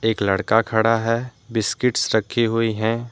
लड़का खड़ा है। बिस्किट्स रखी हुई हैं।